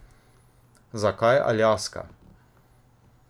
Zakaj Aljaska?